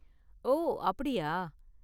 ஓ, அப்படியா!